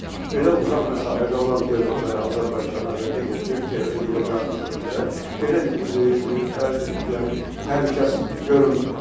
Belə uzaq məsafədə olan dövlətlərə Azərbaycana və digər Türkiyə və digər qardaş ölkələrə belə yəni təhlükəsi görünmür.